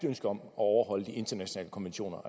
ønske om at overholde de internationale konventioner